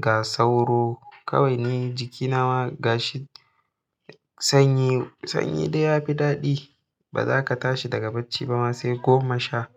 ga sauro. Kawai ni jikina ma gashi. Sanyi, sanyi dai ya fi daɗi. Ba za ka tashi daga bacci ba ma sai goma sha.